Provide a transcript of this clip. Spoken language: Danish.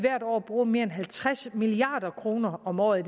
bruge mere end halvtreds milliard kroner om året